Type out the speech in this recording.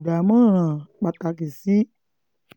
dámọ̀ràn pàtàkì sí